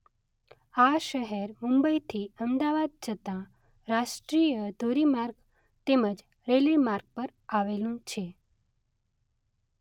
આ શહેર મુંબઇથી અમદાવાદ જતા રાષ્ટ્રીય ધોરી માર્ગ તેમજ રેલ્વે માર્ગ પર આવેલું છે.